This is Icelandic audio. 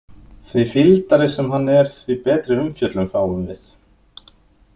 Því fýldari sem hann er, því betri umfjöllun fáum við.